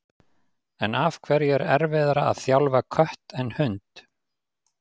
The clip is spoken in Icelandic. En af hverju er erfiðara að þjálfa kött en hund?